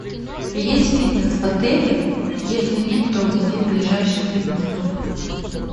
есть фитнес в отеле если нет то где ближайший фитнес клуб